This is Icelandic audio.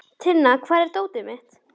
Tinna, hvar er dótið mitt?